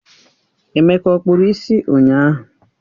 Emeka ọ kpụrụ isi ụnyahụ?